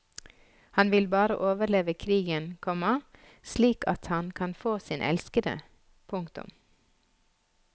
Han vil bare overleve krigen, komma slik at han kan få sin elskede. punktum